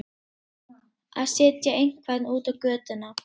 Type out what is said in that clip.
Að setja einhvern út á götuna